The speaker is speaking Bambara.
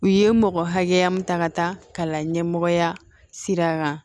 U ye mɔgɔ hakɛya min ta ka taa kalan ɲɛmɔgɔya sira kan